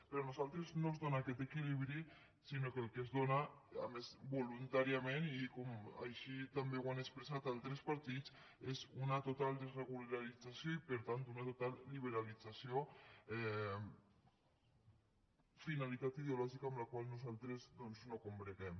per a nosaltres no es dóna aquest equilibri sinó que el que es dóna a més voluntàriament i com així també ho han expressat altres partits és una total desregulació i per tant una total liberalització finalitat ideològica amb la qual nosaltres no combreguem